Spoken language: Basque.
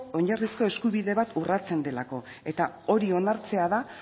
oinarrizko eskubide bat urratsen delako eta hori onartzea da